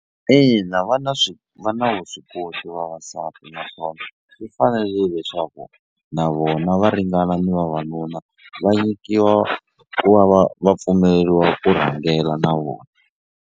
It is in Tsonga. Ina va na swi va na vuswikoti vavasati naswona swi fanerile leswaku na vona va ringana na vavanuna va nyikiwa ku va va va pfumeleriwa ku rhangela na vona.